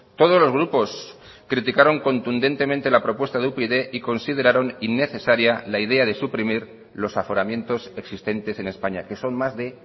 todos los grupos criticaron contundentemente la propuesta de upyd y consideraron innecesaria la idea de suprimir los aforamientos existentes en españa que son más de